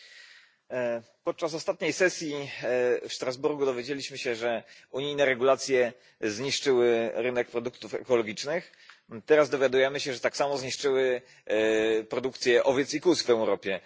Pani Przewodnicząca! Podczas ostatniej sesji w Strasburgu dowiedzieliśmy się, że unijne regulacje zniszczyły rynek produktów ekologicznych. Teraz dowiadujemy się, że tak samo zniszczyły produkcję owiec i kóz w Europie.